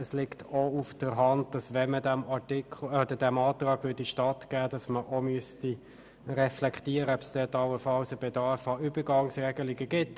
Es liegt auf der Hand, dass man darüber nachdenken sollte, ob ein Bedarf an Übergangsregelungen besteht, wenn man diesem Anliegen stattgeben möchte.